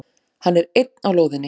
Hann er einn á lóðinni.